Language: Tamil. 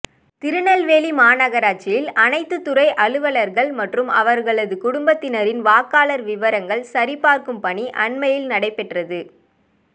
திருநெல்வேலி மாநகராட்சியில் அனைத்துத்துறை அலுவலா்கள் மற்றும் அவா்களது குடும்பத்தினரின் வாக்காளா் விவரங்கள் சரிபாா்க்கும் பணி அண்மையில் நடைபெற்றது